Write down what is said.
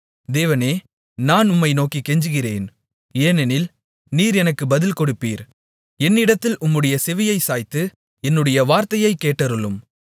தேவனே நான் உம்மை நோக்கிக் கெஞ்சுகிறேன் ஏனெனில் நீர் எனக்குப் பதில்கொடுப்பீர் என்னிடத்தில் உம்முடைய செவியைச் சாய்த்து என்னுடைய வார்த்தையைக் கேட்டருளும்